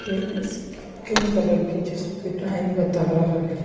ये screen colour की जिसपे टाइम बता रहा है।